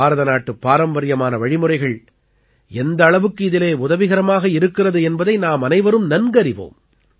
பாரதநாட்டுப் பாரம்பரியமான வழிமுறைகள் எந்த அளவுக்கு இதிலே உதவிகரமாக இருக்கிறது என்பதை நாமனைவரும் நன்கறிவோம்